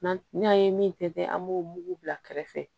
N'an n'an ye min tɛntɛn an b'o mugu bila kɛrɛfɛ